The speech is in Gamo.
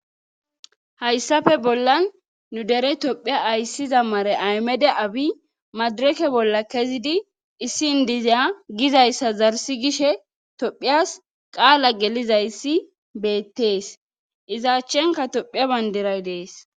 hayssape bollan nu dere topheya ayssiza mare aymede abi madireke bolla kezidi issin dizeya gizayssa zarsi gishe tophiyas qaala gelizayssi beettees iza achchenka tophiya bandiray dees.